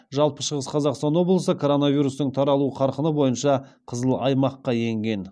жалпы шығыс қазақстан облысы коронавирустың таралу қарқыны бойынша қызыл аймаққа енген